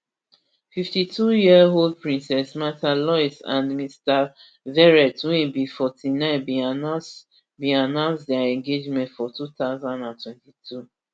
fifty-twoyearold princess mrtha louise and mr verrett wey be forty-nine bin announce bin announce dia engagement for two thousand and twenty-two